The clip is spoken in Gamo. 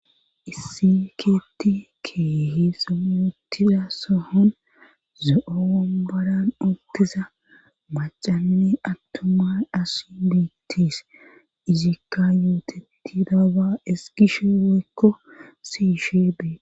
issikeeti keehe sayuutida sohon zo7oro ombaran oltiza macanne attoma as biittis izikka yuutetti daaba eskishe weykko siishe bee